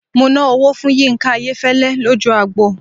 Mo ná owó fún Yínká Ayéfẹ́lẹ́ lójú agbo.